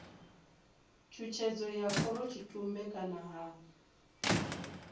tshutshedzo ya khorotshitumbe kana ha